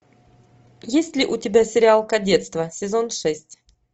есть ли у тебя сериал кадетство сезон шесть